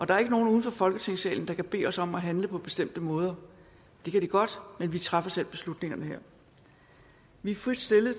der er ikke nogen uden for folketingssalen der kan bede os om at handle på bestemte måder det kan de godt men vi træffer selv beslutningerne her vi er frit stillet